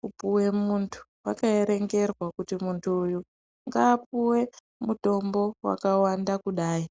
kupuwe muntu wakaerwngerwa kuti muntu uyu ngaapuwe mutombo wakawanda kudai.